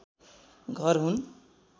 घर हुन्